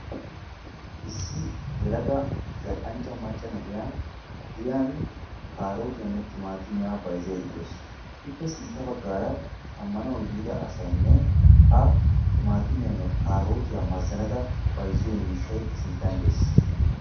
Issi yelaga zal"anchcha maccaa na'iya giyaan kaarotiyanne timatimiya bayzzada de'awus. Ippe sintta baggaara hara shammanaw yiida asaynne a kaarotiyanne timatimiya mazzanada bayzziyo miishshay sinttan dees.